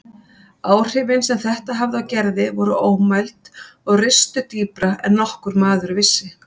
Áhrifin sem þetta hafði á Gerði voru ómæld og ristu dýpra en nokkur maður vissi.